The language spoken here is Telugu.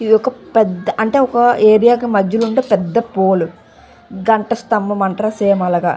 ఇది ఒక పేద అంటే ఏరియా కి మదలీ ఉండే పెద్ద పూల్ గంట సంభం అంతర్ సేమె అలాగా.